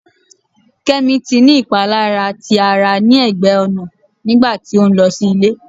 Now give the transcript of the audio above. Kemi ti ni ipalara ti ara ni ẹgbẹ ọna nigba ti o nlọ si ile